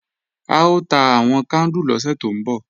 A ó ta àwọn kándù lọ́sẹ̀ tó ń bọ̀